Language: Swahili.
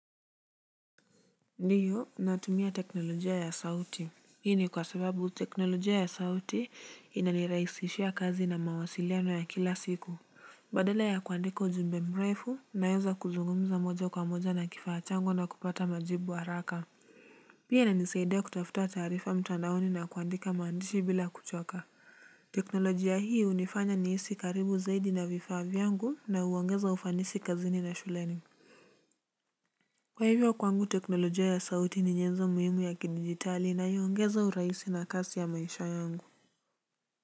Ndiyo natumia teknolojia ya sauti hii ni kwa sababu teknolojia ya sauti inanirahisishia kazi na mawasiliano ya kila siku badala ya kuandika ujumbe mreifu naeza kuzungumza moja kwa moja na kifaa changu na kupata majibu haraka pia inanisaidia kutafuta taarifa mtandaoni na kuandika mandishi bila kuchoka teknolojia hii hunifanya nihisi karibu zaidi na vifaa vyangu na huongeza ufanisi kazini na shuleni. Kwa hivyo kwangu teknolojia ya sauti ni nyenzo muhimu ya kidigitali na huongeza uraisi na kasi ya maisha yangu.